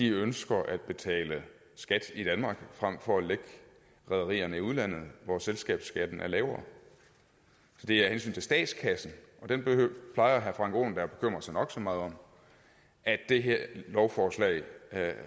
ønsker at betale skat i danmark frem for at lægge rederierne i udlandet hvor selskabsskatten er lavere så det er af hensyn til statskassen og den plejer herre frank aaen da at bekymre sig nok så meget om at det her lovforslag